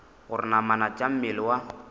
gore namana tša mmele wa